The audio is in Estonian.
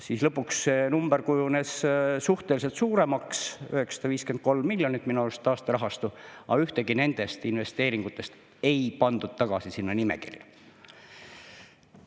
Siis lõpuks see number kujunes suhteliselt suuremaks – 953 miljonit oli minu arust taasterahastu –, aga ühtegi nendest investeeringutest ei pandud tagasi sinna nimekirja.